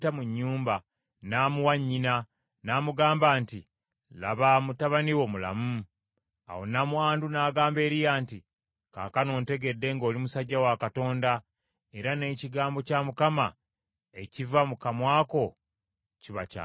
Awo nnamwandu n’agamba Eriya nti, “Kaakano ntegedde ng’oli musajja wa Katonda, era n’ekigambo kya Mukama ekiva mu kamwa ko kiba kya mazima.”